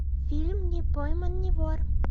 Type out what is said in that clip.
фильм не пойман не вор